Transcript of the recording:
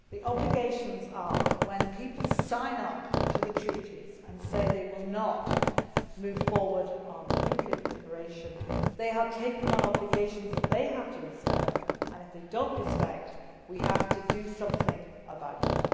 Those obligations are that, when people sign up to treaties and say they will not move toward nuclear proliferation, they are taking on obligations that they have to respect, and if they do not respect them then we have to do something about